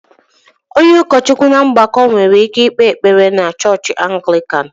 Onye ụkọchukwu na ọgbakọ nwere ike ikpe ekpere na chọọchị Anglican